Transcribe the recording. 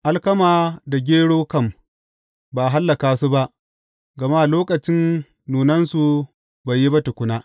Alkama da gero kam, ba a hallaka su ba, gama lokacin nunansu bai yi ba tukuna.